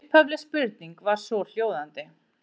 Upphafleg spurning var svohljóðandi: